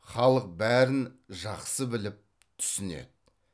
халық бәрін жақсы біліп түсінеді